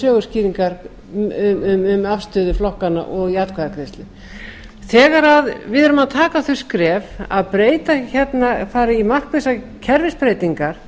fara í söguskýringar um afstöðu flokkanna og í atkvæðagreiðslum þegar við erum að taka þau skref að fara hérna í markvissa kerfisbreytingar